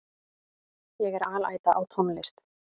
Ég er alæta á tónlist.